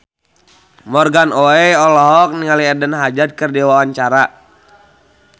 Morgan Oey olohok ningali Eden Hazard keur diwawancara